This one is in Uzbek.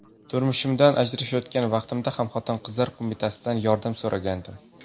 Turmushimdan ajrashayotgan vaqtimda ham Xotin-qizlar qo‘mitasidan yordam so‘ragandim.